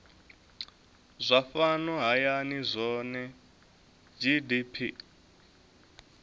zwa fhano hayani zwohe gdp